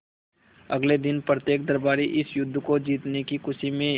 अगले दिन प्रत्येक दरबारी इस युद्ध को जीतने की खुशी में